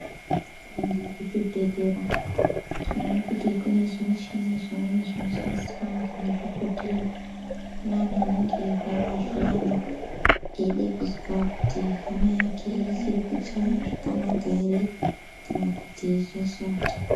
Tikaende kuzvibhedhlera tinoona kuti kune zvimweni zvimuchini zvinoshandiswa ngemadhogodheya. Kune antu anenge eirwara zviyani eide kuzwa kuti hana yake ichiri kuchaya zvakanaka ere kana kuti zvashata.